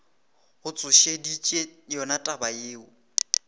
go tsošeditše yona taba yeo